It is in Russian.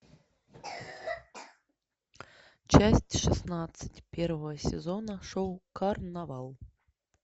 часть шестнадцать первого сезона шоу карнавал